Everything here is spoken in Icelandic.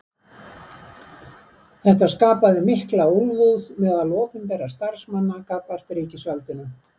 Þetta skapaði mikla úlfúð meðal opinberra starfsmanna gagnvart ríkisvaldinu.